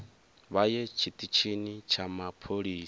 vha ye tshiṱitshini tsha mapholisa